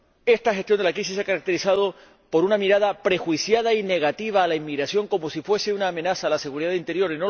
Esta gestión de la crisis se ha caracterizado por una mirada prejuiciada y negativa a la inmigración, como si fuese una amenaza a la seguridad interior.